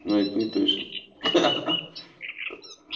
ну это не точно ха-ха